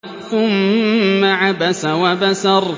ثُمَّ عَبَسَ وَبَسَرَ